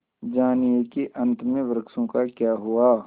जानिए कि अंत में वृक्षों का क्या हुआ